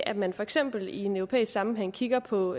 at man for eksempel i en europæisk sammenhæng kigger på